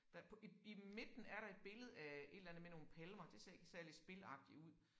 Der på i i midten er der et billede af et eller andet med nogle palmer det ser ikke særlig spilagtigt ud